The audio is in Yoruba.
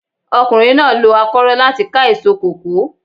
Ọkùnrin náà lo akórọ́ láti ká èso kòkó.